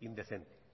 indecente